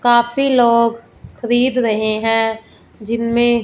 काफी लोग खरीद रहे हैं जिनमें--